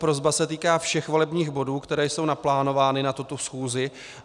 Prosba se týká všech volebních bodů, které jsou naplánovány na tuto schůzi.